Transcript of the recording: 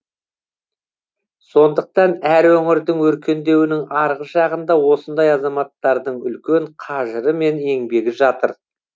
сондықтан әр өңірдің өркендеуінің арғы жағында осындай азаматтардың үлкен қажыры мен еңбегі жатыр